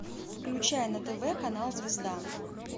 включай на тв канал звезда